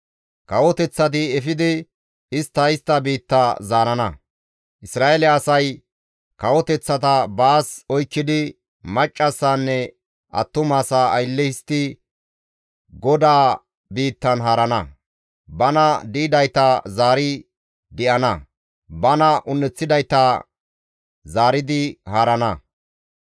Kawoteththati efidi istta istta biitta zaarana. Isra7eele asay kawoteththata baas oykkidi maccassaanne attumasaa aylle histtidi GODAA biittan haarana. Bana di7idayta zaari di7ana; bana un7eththidayta zaaridi haarana.